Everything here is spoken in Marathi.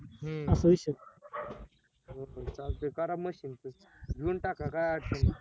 हम्म चालतंय करा machine च घेऊन टाका काय अडचण नाय